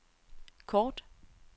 kort